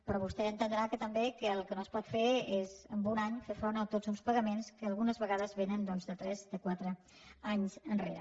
però vostè entendrà també que el que no es pot fer és en un any fer front a tots uns pagaments que algunes vegades vénen de tres de quatre anys enrere